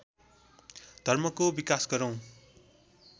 धर्मको विकास गरौँ